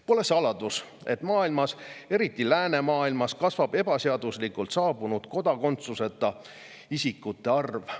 Pole saladus, et maailmas, eriti läänemaailmas, kasvab ebaseaduslikult saabunud ja kodakondsuseta isikute arv.